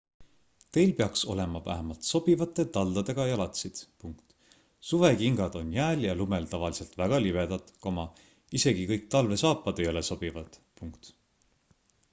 teil peaks olema vähemalt sobivate taldadega jalatsid suvekingad on jääl ja lumel tavaliselt väga libedad isegi kõik talvesaapad ei ole sobivad